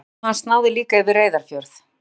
Umdæmi hans náði líka yfir Reyðarfjörð.